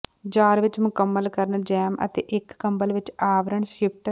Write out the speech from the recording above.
jar ਵਿੱਚ ਮੁਕੰਮਲ ਕਰਨ ਜੈਮ ਅਤੇ ਇੱਕ ਕੰਬਲ ਵਿੱਚ ਆਵਰਣ ਸ਼ਿਫਟ